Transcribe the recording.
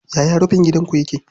Yaya rufin gidanku yake?